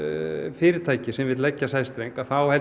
fyrirtækja sem vill leggja sæstreng þá held